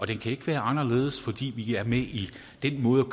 den kan ikke være anderledes fordi vi er med i den måde